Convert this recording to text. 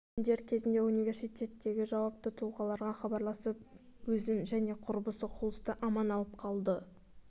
джексон дер кезінде университеттегі жауапты тұлғаларға хабарласып өзін және құрбысы хулсты аман алып қалды